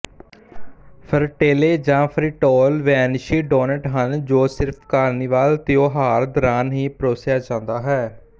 frittelle ਜਾਂ fritole ਵੇਨੇਸ਼ੀ doughnut ਹਨ ਜੋ ਸਿਰਫ ਕਾਰਨੀਵਲ ਤਿਉਹਾਰ ਦੌਰਾਨ ਹੀ ਪਰੋਸਿਆ ਜਾਂਦਾ ਹੈ